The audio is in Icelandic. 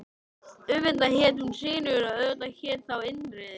Auðvitað hét hún Sigríður og auðvitað hét ég þá Indriði.